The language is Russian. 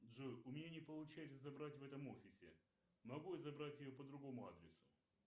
джой у меня не получается забрать в этом офисе могу я забрать ее по другому адресу